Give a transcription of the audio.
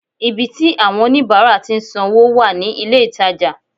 Ibi tí àwon oníbáárà tí n san wó wà ní ilé ìtajà